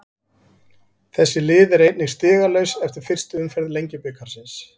Þessi lið eru einnig stigalaus eftir fyrstu umferð Lengjubikarsins.